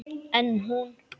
En hún.